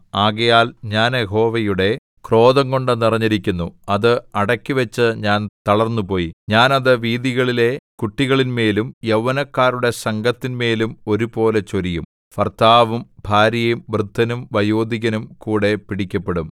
ആകയാൽ ഞാൻ യഹോവയുടെ ക്രോധംകൊണ്ടു നിറഞ്ഞിരിക്കുന്നു അത് അടക്കിവച്ച് ഞാൻ തളർന്നുപോയി ഞാൻ അത് വീഥികളിലെ കുട്ടികളിന്മേലും യൗവനക്കാരുടെ സംഘത്തിന്മേലും ഒരുപോലെ ചൊരിയും ഭർത്താവും ഭാര്യയും വൃദ്ധനും വയോധികനും കൂടെ പിടിക്കപ്പെടും